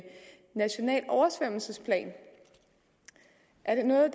national oversvømmelsesplan er det noget